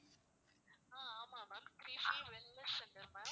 ஆஹ் ஆமா ma'am Trishi wellness center ma'am